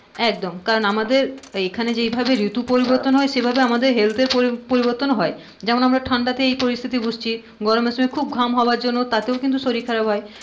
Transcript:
একদম কারণ আমাদের এইখানে যে ভাবে রিতু পরিবর্তন হয় সেই ভাবে আমাদের health এর পড়ি~পরিবর্তন ও হয় যেমন আমরা ঠান্ডা এই পরিস্থিতি বুজছি গরমের সময় খুব ঘাম হওয়ার জন্যে তাতেও কিন্তু শরীর খারাপ হয়.